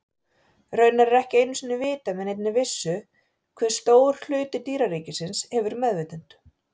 Raunar er ekki einu sinni vitað með neinni vissu hve stór hluti dýraríkisins hefur meðvitund.